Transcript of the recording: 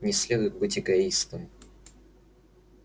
не следует быть эгоистом